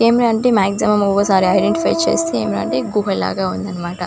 ఏమి అంటే ఒక్కోసారి మాక్సిమం ఐడెంటిఫై చేస్తే గుహ లాగా ఉందన్నమాట.